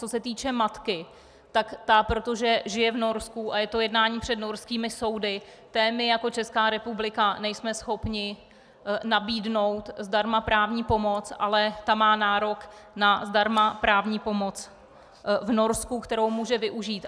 Co se týče matky, tak ta, protože žije v Norsku a je to jednání před norskými soudy, té my jako Česká republika nejsme schopni nabídnout zdarma právní pomoc, ale ta má nárok na zdarma právní pomoc v Norsku, kterou může využít.